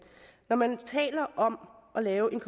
når man taler om at lave en